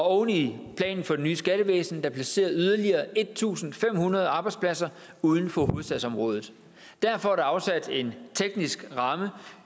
oven i planen for det nye skattevæsen der placerer yderligere en tusind fem hundrede arbejdspladser uden for hovedstadsområdet derfor er der afsat en teknisk ramme